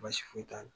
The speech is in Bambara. Baasi foyi t'a la